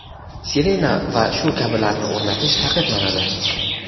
sirena va shu kabilarni o‘rnatish taqiqlanadi.